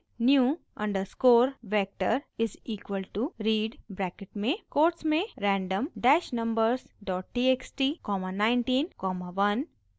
new underscore vector is equal to read bracket में quotes में random dash numbers dot txt comma 19 comma 1